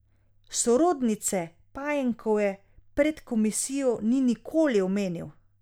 Sorodnice Pajenkove pred komisijo ni nikoli omenil.